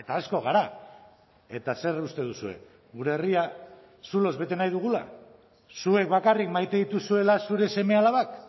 asko gara eta zer uste duzue gure herria zuloz bete nahi dugula zuek bakarrik maite dituzuela zure seme alabak